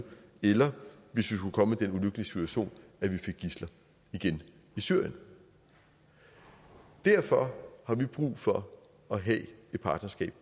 eller hvis vi skulle komme i den ulykkelige situation at vi fik gidsler igen i syrien derfor har vi brug for at have et partnerskab